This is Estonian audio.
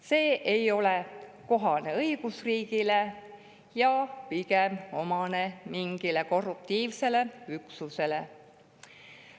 See ei ole kohane õigusriigile ja on pigem omane mingile korruptiivsele üksusele.